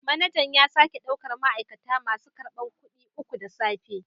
Manajan ya sake daukar ma'aikata masu karbar kudi uku da safe